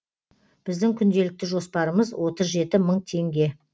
біздің күнделікті жоспарымыз отыз жеті мың теңге